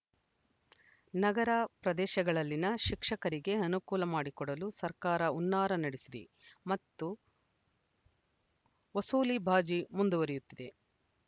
ನಗರ ಪ್ರದೇಶಗಳಲ್ಲಿನ ಶಿಕ್ಷಕರಿಗೆ ಅನುಕೂಲ ಮಾಡಿಕೊಡಲು ಸರ್ಕಾರ ಹುನ್ನಾರ ನಡೆಸಿದೆ ಮತ್ತು ವಸೂಲಿಬಾಜಿ ಮುಂದುವರಿಯುತ್ತದೆ